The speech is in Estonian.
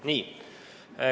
Nii.